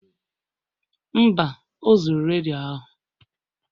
Mba, o zuru redio ahụ